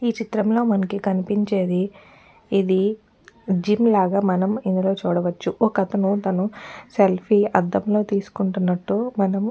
ఈచిత్రంలో మనకి కనిపించేది ఇది జిమ్ లాగా మనం ఇందులో చూడవచ్చు ఒక్కతను సెల్ఫి అందంలో తీసుకుంటున్నటు మనం --